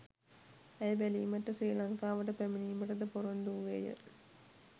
ඇය බැලීමට ශ්‍රී ලංකාවට පැමිණීමට ද පොරොන්දු වූවේය.